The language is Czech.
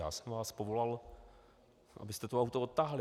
Já jsem vás povolal, abyste to auto odtáhli.